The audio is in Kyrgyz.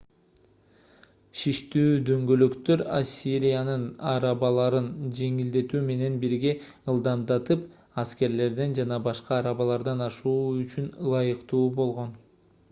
шиштүү дөңгөлөктөр ассириянын арабаларын жеңилдетүү менен бирге ылдамдатып аскерлерден жана башка арабалардан ашуу үчүн ылайыктуу болгон